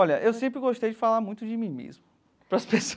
Olha, eu sempre gostei de falar muito de mim mesmo, para as